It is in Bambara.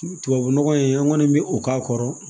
Tubabu nɔgɔ in an kɔni bɛ o k'a kɔrɔ